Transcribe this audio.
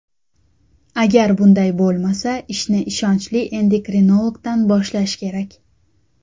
Agar bunday bo‘lmasa, ishni ishonchli endokrinologdan boshlash kerak.